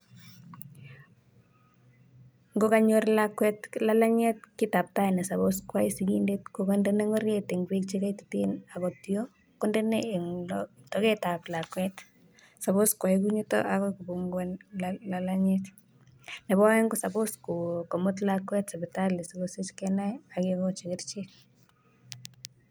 Ngo kanyor lakwet lalangiet, kiitab tai ne suppose koyai sikindet ko kondena ngoriet eng beek che kaitit akotyo kondena toketab lakwet suppose koyai kunito akoi kopunguan lalangiet, nebo aeng ko suppose komuut lakwet sipitali sikomuch kenai ake kochi kerichek.